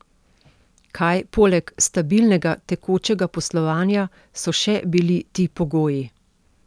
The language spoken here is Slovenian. Kaj poleg stabilnega tekočega poslovanja so še bili ti pogoji?